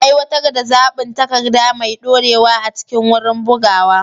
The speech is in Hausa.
Aiwatar da zaɓin takarda mai ɗorewa a cikin wurin bugawa.